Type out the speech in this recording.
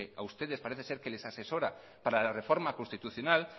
a ustedes parece ser que les asesora para la reforma constitucional